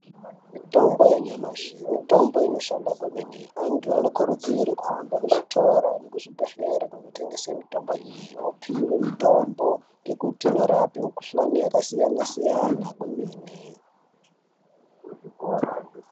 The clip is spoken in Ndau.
Mitombo yenyamashi mitombo inoshanda kwemene. Antu anokurudzirwe kuhambe kuzvitora nekuzvibhedhlere kunotengese mitombo iyi vopihwe mutombo. Ngekuti inorape mikuhlani yakasiyana-siyana kwemene.